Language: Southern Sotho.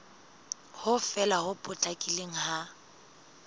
ho fela ho potlakileng ha